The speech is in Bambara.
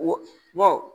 Wo